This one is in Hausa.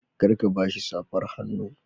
Kar ka ba shi safar hannu.